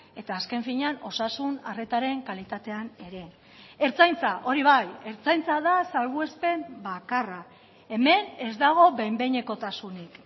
eta azken finean osasun arretaren kalitatean ere ertzaintza hori bai ertzaintza da salbuespen bakarra hemen ez dago behin behinekotasunik